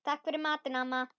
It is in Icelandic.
Takk fyrir matinn, amma.